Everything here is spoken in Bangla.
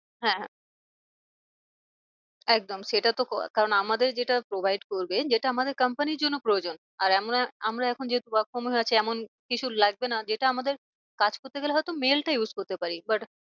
হ্যাঁ একদম সেটা তো কারণ আমাদের যেটা provide করবে যেটা আমাদের company র জন্য প্রয়োজন। আর আমরা এখন যেহেতু work from home এ আছে এমন কিছু লাগবে না যেটা আমাদের কাজ করতে গেলে হয় তো mail টা used করতে পারি। but